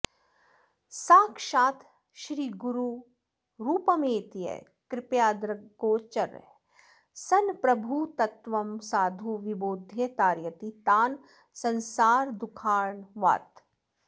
साक्षात् श्रीगुरुरूपमेत्य कृपया दृग्गोचरः सन् प्रभुः तत्त्वं साधु विबोध्य तारयति तान् संसारदुःखार्णवात्